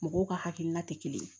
Mɔgɔw ka hakilina te kelen ye